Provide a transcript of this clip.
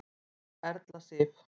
Þín Erla Sif.